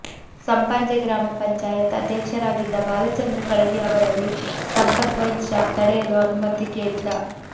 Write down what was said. ಸಂಪಾಜೆ ಗ್ರಾಮ ಪಂಚಾಯತ್ ಅಧ್ಯಕ್ಷರಾಗಿದ್ದ ಬಾಲಚಂದ್ರ ಕಳಗಿ ಅವರಲ್ಲಿ ಸಂಪತ್ ವೈನ್ ಶಾಪ್ ತೆರೆಯಲು ಅನುಮತಿ ಕೇಳಿದ್ದ